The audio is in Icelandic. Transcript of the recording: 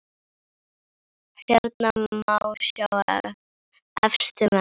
Hérna má sjá efstu menn